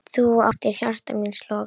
Þú áttir hjarta míns loga.